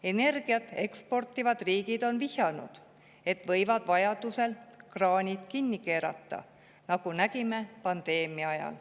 Energiat eksportivad riigid on vihjanud, et võivad vajadusel kraanid kinni keerata, nagu nägime pandeemia ajal.